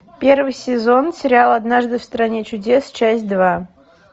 первый сезон сериал однажды в стране чудес часть два